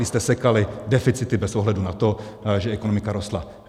Vy jste sekali deficity bez ohledu na to, že ekonomika rostla!